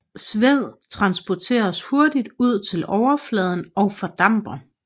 Sved transporteres hurtigt ud til overfladen og fordamper